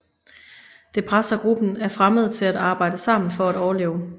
Det presser gruppen af fremmede til at arbejde sammen for at overleve